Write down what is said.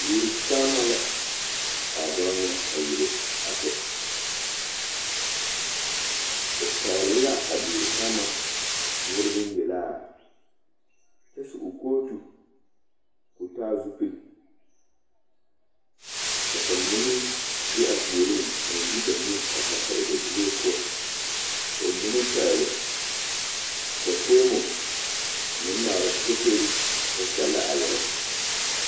Duori saama la ka a dɔɔ nyɛ a yele a kyɛ, o pɛgele la a duori saama noɔre boŋyelaa kyɛ su o kootu k'o taa zupili ka bamine meŋ be a puoriŋ a meŋ de ba nu a pare pare ba zuree poɔ ka bamine meŋ pɛgele ba foomo a meŋ ŋmaara fotori kyɛ kyɛllɛ a yɛlɛ.